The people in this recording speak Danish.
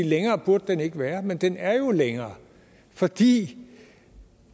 længere burde den ikke være men den er jo længere fordi